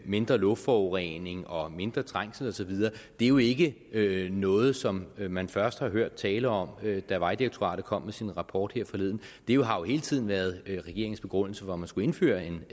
mindre luftforurening og mindre trængsel og så videre er jo ikke ikke noget som man først hørte tale om da vejdirektoratet kom med sin rapport her forleden det har jo hele tiden været regeringens begrundelse for at man skulle indføre en